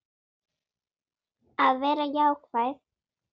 Að vera jákvæð.